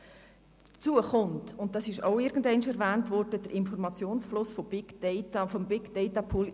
Hinzu kommt der Informationsfluss aus dem Big-Data-Pool.